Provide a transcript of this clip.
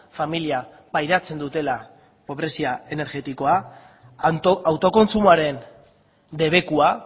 familia pairatzen dutela pobrezia energetikoa autokontsumoaren debekua